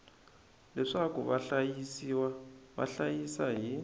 leswaku vahlayisiwa va hlayisa hi